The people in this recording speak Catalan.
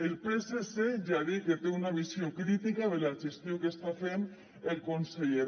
el psc ja ha dit que té una visió crítica de la gestió que està fent el conseller